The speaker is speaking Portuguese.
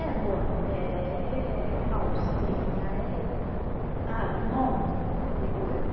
É boné, é é calcinha, é ah um monte de coisa.